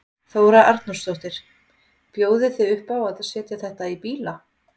Þóra Arnórsdóttir: Bjóðið þið upp á að setja þetta í bíla?